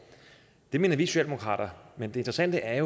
det mener vi socialdemokrater men det interessante er